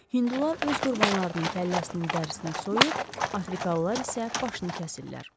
Hindular öz qurbanlarının kəlləsinin dərisini soyur, Afrikalılar isə başını kəsirlər.